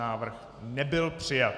Návrh nebyl přijat.